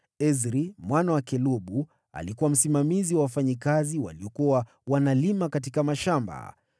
Ezri mwana wa Kelubu alikuwa msimamizi wa wafanyakazi waliolima katika mashamba.